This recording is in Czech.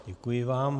Děkuji vám.